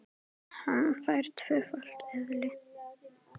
Hann fær tvöfalt eðli.